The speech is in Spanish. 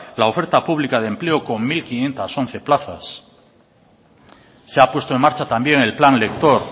la oferta pública de empleo con mil quinientos once plazas se ha puesto en marcha también el plan lector